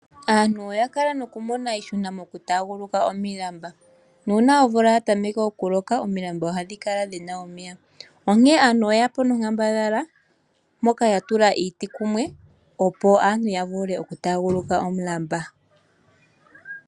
Aantu oya okala haya mono iihuna no ku taguluka omilamba , oya tokola oku tula iiti kumwe ya vule ya tote po oshinima hoka taya vulu oku londa nkene taya taguluka.